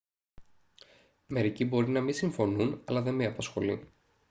μερικοί μπορεί να μη συμφωνούν αλλά δε με απασχολεί